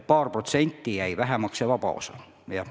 Paar protsenti jäi vähemaks see vaba osa.